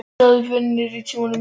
Ég sagði upp vinnunni á Ritsímanum.